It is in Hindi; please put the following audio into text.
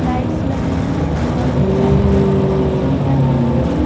लाइट्स लगे और ब्लैक कलर की खिड़की है बहुत बड़ी ।